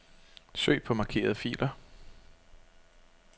Søg på markerede filer.